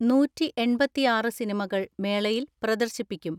നൂറ്റിഎൺപത്തിആറ് സിനിമകൾ മേളയിൽ പ്രദർശിപ്പിക്കും.